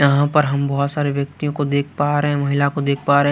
यहां पर हम बोहोत सारे व्यक्तियों को देख पा रहे हैं महिला को देख पा रहे हैं।